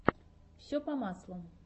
все по маслу